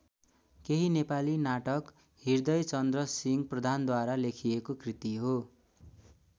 केही नेपाली नाटक हृदयचन्द्रसिंह प्रधानद्वारा लेखिएको कृति हो।